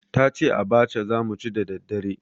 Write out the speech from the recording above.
Ta ce abacha za mu ci da daddare.